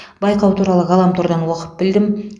байқау туралы ғаламтордан оқып білдім